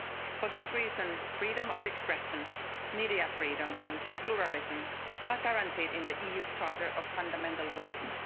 For this reason, freedom of expression, media freedom and pluralism are guaranteed in the EU Charter of Fundamental Rights.